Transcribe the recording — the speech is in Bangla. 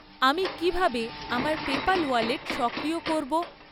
আমি কী ভাবে আমার পেপ্যাল ওয়ালেট সক্রিয় করব?